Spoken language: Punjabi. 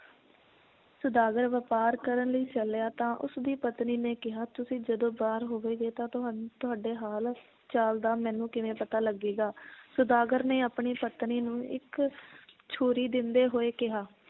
ਸੌਦਾਗਰ ਵਪਾਰ ਕਰਨ ਲਈ ਚੱਲਿਆ ਤਾਂ ਉਸ ਦੀ ਪਤਨੀ ਨੇ ਕਿਹਾ ਤੁਸੀਂ ਜਦੋ ਬਾਹਰ ਹੋਵੋਗੇ ਤਾਂ ਤੁਹਾਨ~ ਤੁਹਾਡੇ ਹਾਲ ਚਾਲ ਦਾ ਮੈਨੂੰ ਕਿਵੇਂ ਪਤਾ ਲੱਗੇਗਾ ਸੌਦਾਗਰ ਨੇ ਆਪਣੀ ਪਤਨੀ ਨੂੰ ਇੱਕ ਛੁਰੀ ਦਿੰਦੇ ਹੋਏ ਕਿਹਾ